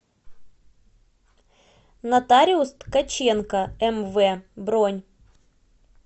нотариус ткаченко мв бронь